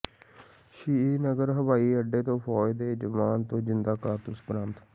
ਸ੍ਰੀਨਗਰ ਹਵਾਈ ਅੱਡੇ ਤੋਂ ਫ਼ੌਜ ਦੇ ਜਵਾਨ ਤੋਂ ਜ਼ਿੰਦਾ ਕਾਰਤੂਸ ਬਰਾਮਦ